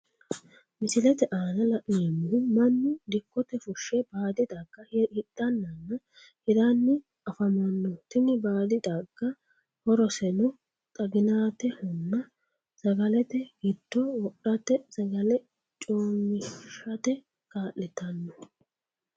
Misilete aanna la'neemohu Manu dikote fushe baadi xagga hidhanninna hiranni afamano tini baadi xagga horoseno xaginaatehonna sagalete gido wodhate sagale coomishate kaa'litano.